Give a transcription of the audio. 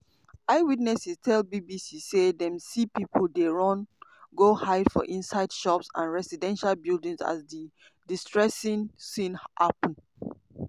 eyewitnesses tell bbc say dem see pipo dey run go hide for inside shops and residential buildings as di "distressing" scene happun.